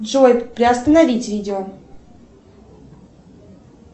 джой приостановить видео